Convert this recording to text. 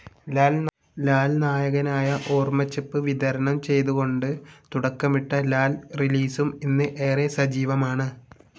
ലാൽ നായകനായ ഓർമ്മച്ചെപ്പ് വിതരണം ചെയ്തുകൊണ്ട് തുടക്കമിട്ട ലാൽ റിലീസും ഇന്ന് ഏറെ സജീവമാണ്.